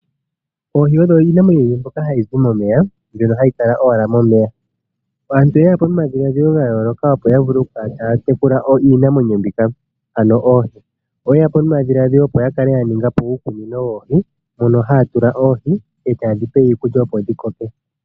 Oohi odho iinamwenyo mbyoka hayi zi momeya, mbyoka hayi kala owala momeya. Aantu oye ya po nomadhiladhilo ga yooloka, opo ya vule kala taya tekula iinamwenyo mbika, ano oohi. Oye ya po nomadhiladhilo opo ya kale ya ninga po uukunino woohi mono haya tula oohi e taye dhi pe iikulya, opo dhi koke.